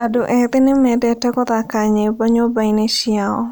Andũ ethĩ nĩmendete gũthaka nyĩmbo nyũmba-inĩ ciao